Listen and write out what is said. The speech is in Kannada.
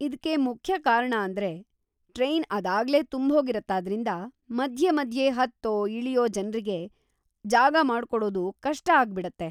ಇದ್ಕೆ ಮುಖ್ಯ ಕಾರ್ಣ ಅಂದ್ರೆ ಟ್ರೈನ್‌ ಅದಾಗ್ಲೇ ತುಂಬ್ಹೋಗಿರುತ್ತಾದ್ರಿಂದ ಮಧ್ಯ ಮಧ್ಯೆ ಹತ್ತೋ ಇಳ್ಯೋ ಜನ್ರಿಗೆ ಜಾಗ ಮಾಡ್ಕೊಡೋದು ಕಷ್ಟ ಆಗ್ಬಿಡತ್ತೆ.